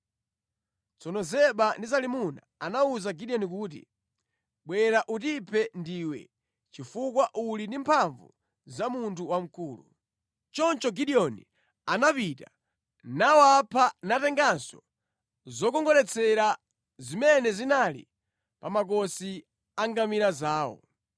Tsono Zeba ndi Zalimuna anawuza Gideoni kuti, “Bwera utiphe ndiwe chifukwa uli ndi mphamvu za munthu wamkulu.” Choncho Gideoni anapita nawapha natenganso zokongoletsera zimene zinali pa makosi a ngamira zawo.